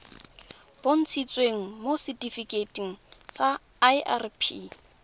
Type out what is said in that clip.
bontshitsweng mo setifikeiting sa irp